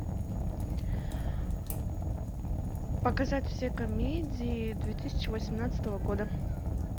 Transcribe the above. показать все комедии две тысячи восемнадцатого года